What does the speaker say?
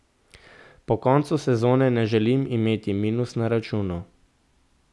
Po koncu sezone ne želim imeti minus na računu.